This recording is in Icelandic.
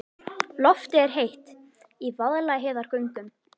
Loftið er heitt í Vaðlaheiðargöngum.